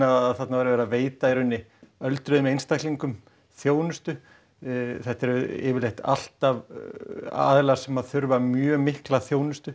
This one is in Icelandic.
að þarna væri verið að veita öldruðum einstaklingum þjónustu þetta eru yfirleitt alltaf aðilar sem þurfa mjög mikla þjónustu